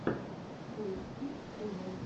тойс кидс тэ вэ